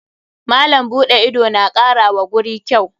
Malam buɗe ido na kara wa guri kyau.